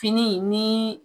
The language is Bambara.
Fini ni